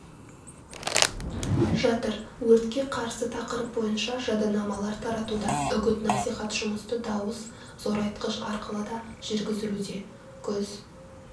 жатыр өртке қарсы тақырып бойынша жадынамалар таратуда үгіт-насихат жұмысты дауыс зорайтқыш арқылы да жүргізілуде күз